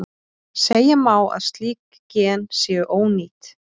Segja má að slík gen séu ónýt.